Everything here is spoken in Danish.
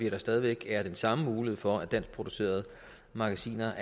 at der stadig væk er den samme mulighed for at danskproducerede magasiner